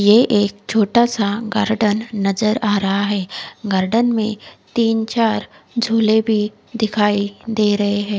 ये एक छोटा सा गार्डन नज़र आ रहा है गार्डन में तिन चार जुले भी दिखाई दे रहे है।